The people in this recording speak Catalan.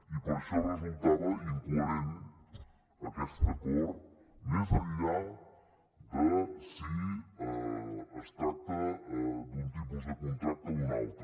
i per això resultava incoherent aquest acord més enllà de si es tracta d’un tipus de contracte o d’un altre